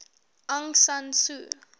aung san suu